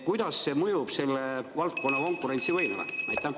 Kuidas see mõjub selle valdkonna konkurentsivõimele?